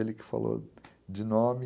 Ele que falou de nome.